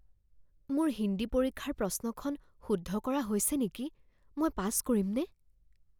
মোৰ হিন্দী পৰীক্ষাৰ প্ৰশ্নখন শুদ্ধ কৰা হৈছে নেকি? মই পাছ কৰিমনে?